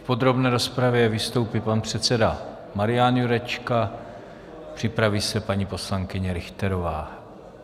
V podrobné rozpravě vystoupí pan předseda Marian Jurečka, připraví se paní poslankyně Richterová.